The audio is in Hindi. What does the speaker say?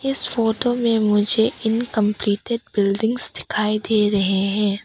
इस फोटो में मुझे इनकम्प्लीटेड बिल्डिंग्स दिखाई दे रहे हैं।